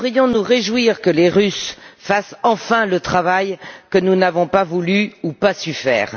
Nous devrions nous réjouir que les Russes fassent enfin le travail que nous n'avons pas voulu ou pas su faire.